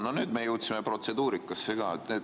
No nüüd me jõudsime protseduurikasse ka.